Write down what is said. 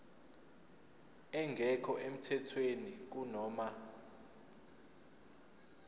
engekho emthethweni kunoma